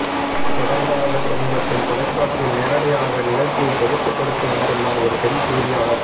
தொடர்பாக சமீபத்தில் தொலைக்காட்சியில் நேரலையாக நிகழ்ச்சியை தொகுத்து கொடுத்து வந்துள்ளார் ஒரு பெண் செய்தியாளர்